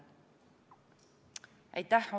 Aitäh!